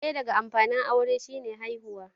ɗaya daga amfanin aure shi ne haihuwa